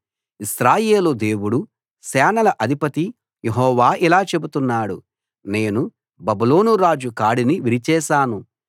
ఇశ్రాయేలు దేవుడు సేనల అధిపతి యెహోవా ఇలా చెబుతున్నాడు నేను బబులోను రాజు కాడిని విరిచేశాను